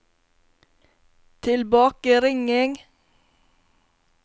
tilbakeringing